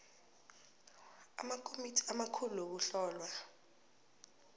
amakomiti amakhulu wokuhlolwa